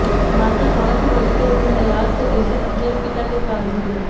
माता पांच वर्ष के प्रल्हाद को एक दिन अपने पिता के पास भेजा